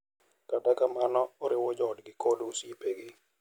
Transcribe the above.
Kata kamano, oriwo joodgi kod osiepegi,